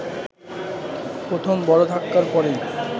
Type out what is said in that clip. প্রথম বড় ধাক্কার পরেই